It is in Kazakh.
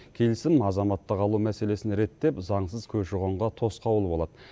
келісім азаматтық алу мәселесін реттеп заңсыз көші қонға тосқауыл болады